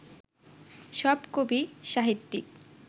সব কবি, সাহিত্যিক